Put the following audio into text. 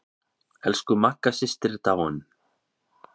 Elsku Magga systir er dáin.